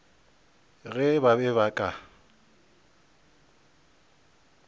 ge ba be ba ka